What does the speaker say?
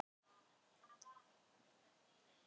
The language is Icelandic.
Hólmgrímur, stilltu tímamælinn á tuttugu og tvær mínútur.